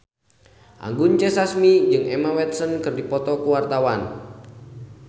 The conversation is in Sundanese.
Anggun C. Sasmi jeung Emma Watson keur dipoto ku wartawan